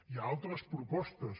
hi ha altres propostes